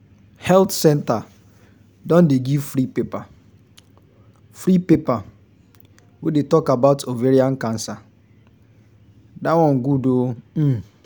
health centre don dey give free paper free paper wey dey talk about ovarian cancer that one good ooo